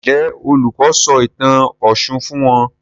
Njé Olùkó sọ ìtàn òshun fún wón?